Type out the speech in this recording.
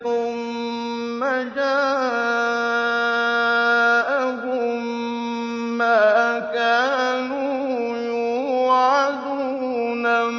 ثُمَّ جَاءَهُم مَّا كَانُوا يُوعَدُونَ